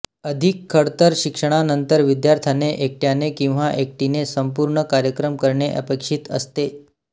अधिक खडतर शिक्षणानंतर विद्यार्थ्याने एकट्याने किंवा एकटीने संपूर्ण कार्यक्रम करणे अपेक्षित असते